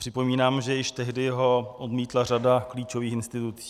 Připomínám, že již tehdy ho odmítla řada klíčových institucí.